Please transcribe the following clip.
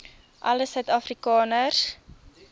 alle suid afrikaners